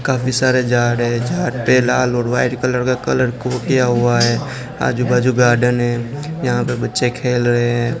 काफी सारे जा रहे हैं लाल और व्हाईट कलर का कलर को किया हुआ हैं आजू बाजू गार्डन है यहां पे बच्चे खेल रहे है।